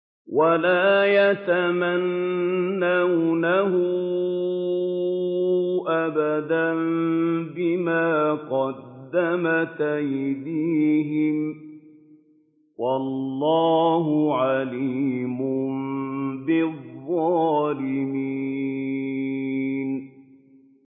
وَلَا يَتَمَنَّوْنَهُ أَبَدًا بِمَا قَدَّمَتْ أَيْدِيهِمْ ۚ وَاللَّهُ عَلِيمٌ بِالظَّالِمِينَ